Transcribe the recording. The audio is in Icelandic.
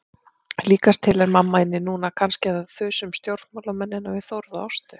Líkast til er mamma inni núna, kannski að þusa um stjórnmálamennina við Þórð og Ástu.